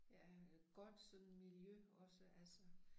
Ja øh godt sådan miljø også altså